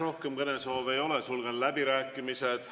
Rohkem kõnesoove ei ole, sulgen läbirääkimised.